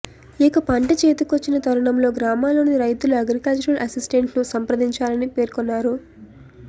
ఇక పంట చేతికొచ్చిన తరుణంలో గ్రామాల్లోని రైతులు అగ్రికల్చర్ అసిస్టెంట్ను సంప్రదించాలని పేర్కొన్నారు